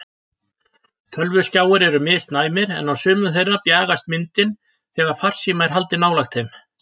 Tölvuskjáir eru misnæmir en á sumum þeirra bjagast myndin þegar farsíma er haldið nálægt þeim.